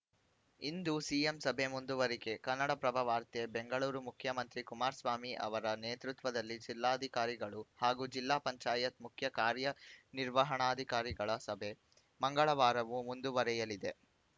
ಇಂದೂ CM ಸಭೆ ಮುಂದುವರಿಕೆ ಕನ್ನಡಪ್ರಭ ವಾರ್ತೆ ಬೆಂಗಳೂರು ಮುಖ್ಯಮಂತ್ರಿ ಕುಮಾರಸ್ವಾಮಿ ಅವರ ನೇತೃತ್ವದಲ್ಲಿ ಜಿಲ್ಲಾಧಿಕಾರಿಗಳು ಹಾಗೂ ಜಿಲ್ಲಾ ಪಂಚಾಯತ್‌ ಮುಖ್ಯ ಕಾರ್ಯನಿರ್ವಹಣಾಧಿಕಾರಿಗಳ ಸಭೆ ಮಂಗಳವಾರವೂ ಮುಂದುವರೆಯಲಿದೆ